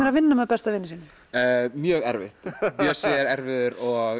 að vinna með besta vini sínum mjög erfitt Bjössi er erfiður og